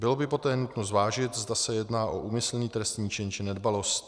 Bylo by poté nutno zvážit, zda se jedná o úmyslný trestný čin, či nedbalost.